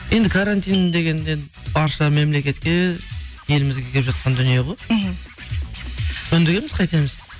енді карантин деген енді барша мемлекетке елімізге келіп жатқан дүние ғой мхм көндігеміз қайтеміз